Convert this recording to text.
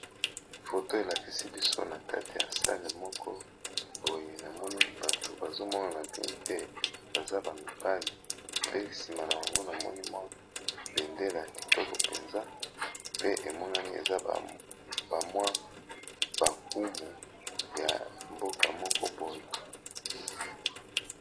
Photo elakisi biso na kati ya sale moko oyo na monii bato bazomonana bi te baza bamibali pe nsima na bango na monimwa bendela ya kitoko mpenza pe emonani eza bamwa bakumu ya mboka moko bon.